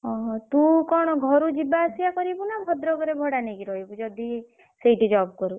ଓହୋ। ତୁ କଣ ଘରୁ ଯିବା ଆସିବା କରିବୁ ନା ଭଦ୍ରକ ରେ ଭଡା ନେଇକି ରହିବୁ ଯଦି ସେଇଠି job କରୁ?